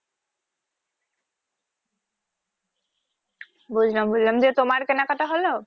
বুঝলাম বুঝলাম যে তোমার কেনাকাটা হলো?